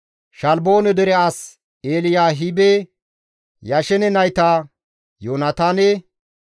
Shaalboone dere as Eliyaahibe, Yashene nayta, Yoonataane,